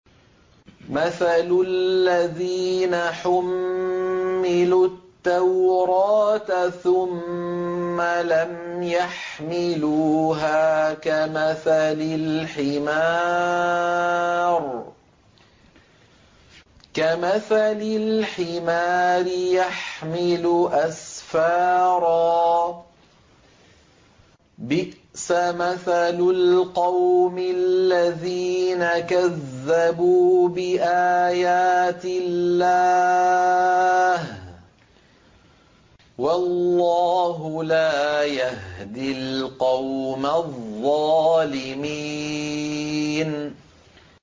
مَثَلُ الَّذِينَ حُمِّلُوا التَّوْرَاةَ ثُمَّ لَمْ يَحْمِلُوهَا كَمَثَلِ الْحِمَارِ يَحْمِلُ أَسْفَارًا ۚ بِئْسَ مَثَلُ الْقَوْمِ الَّذِينَ كَذَّبُوا بِآيَاتِ اللَّهِ ۚ وَاللَّهُ لَا يَهْدِي الْقَوْمَ الظَّالِمِينَ